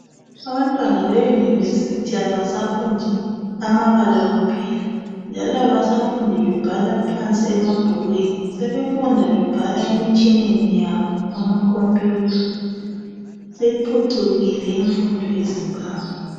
Abantwana be University abasafundi amabala kuphela njalo abasafundi bebhala phansi emabhukwini sebefunda bebhala emitshineni yabo amacomputer siphucukile imfundo ye Zimbabwe